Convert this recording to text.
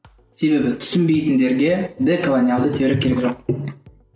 себебі түсінбейтіндерге деколониялды теория керек жоқ